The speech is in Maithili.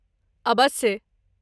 अबस्से।